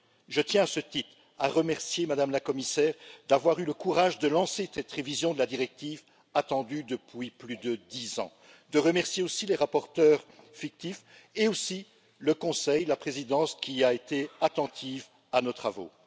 Je tiens à ce titre à remercier Mme la Commissaire d'avoir eu le courage de lancer la révision de cette directive, attendue depuis plus de dix ans, à remercier aussi les rapporteurs fictifs et aussi le Conseil, la Présidence, qui a été attentive à nos travaux.